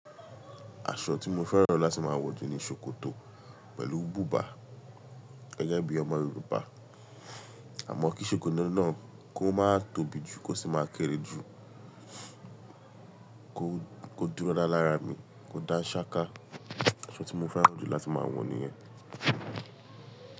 Aṣọ tí mo fẹ́ràn láti máa wọ̀ jù ni ṣòkòtò pẹ̀lú bùbá gẹ́gẹ́ bí ọmọ yorùbá. Àmọ́ kí ṣòkòtò náà kó má tóbi jù, kó sì máa kéré jù, kó, kó dúró da lára mi, kó da ṣáká. Aṣọ tí mo fẹ́ràn jù láti máa wọ̀ nìyẹn.